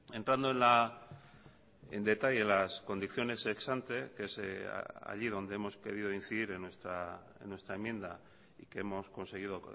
entrando en detalle las condiciones ex ante que se es allí donde hemos querido incidir en nuestra enmienda y que hemos conseguido